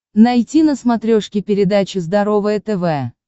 найти на смотрешке передачу здоровое тв